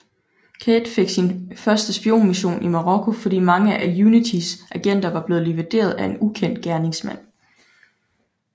Cate fik sin første spionmission i Marokko fordi mange af UNITYs agenter var blevet likvideret af en ukendt gerningsmand